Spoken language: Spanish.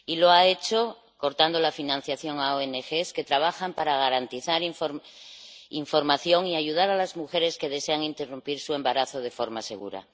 Y lo ha hecho cortando la financiación a ONG que trabajan para garantizar información y ayudar a las mujeres que desean interrumpir su embarazo de forma segura.